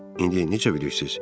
İndi necə bilirsiz?